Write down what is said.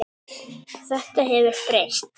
Þetta hefur breyst.